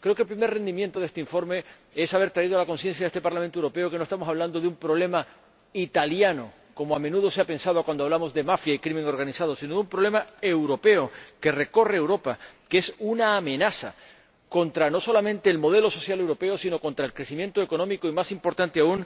Creo que el primer rendimiento de este informe es haber concienciado a este Parlamento Europeo de que no estamos hablando de un problema italiano, como a menudo se ha pensado cuando hablamos de mafia y delincuencia organizada, sino de un problema europeo, que recorre Europa, que es una amenaza contra no solamente el modelo social europeo, sino contra el crecimiento económico y, más importante aún,